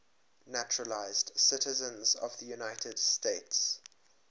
naturalized citizens of the united states